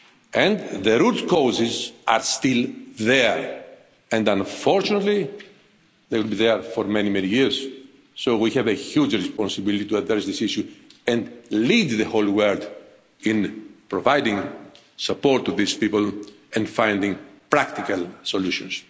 And the root causes are still there and unfortunately, they will be there for many many years, so we have a huge responsibility to address this issue and lead the whole world in providing support to these people and finding practical solutions.